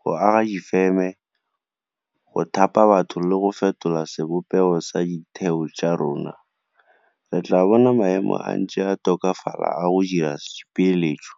go aga difeme, go thapa batho le go fetola sebopego sa ditheo tsa rona, re tla bona maemo a ntse a tokafala a go dira dipeeletso.